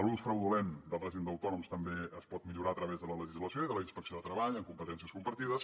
l’ús fraudulent del règim d’autònoms també es pot millorar a través de la legislació i de la inspecció de treball amb competències compartides